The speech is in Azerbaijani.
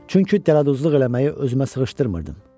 Çünki dələduzluq eləməyi özümə sığışdırmırdım.